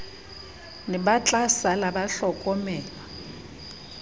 ne ba tlasala ba hlokomelwa